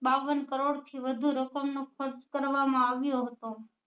બાવન કરોડ થી વધુ રકમ નો ખર્ચ કરવા માં આવ્યો હતો